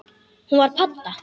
Hún var padda.